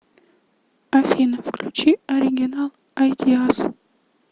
афина включи оригинал айдиас